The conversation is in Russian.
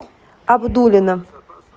абдулино